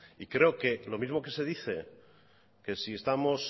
y creo que lo mismo que se dice que si estamos